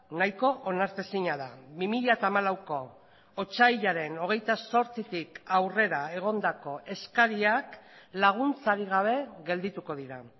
nahiko onartezina da bi mila hamalauko otsailaren hogeita zortzitik aurrera egondako eskariak laguntzarik gabe geldituko dira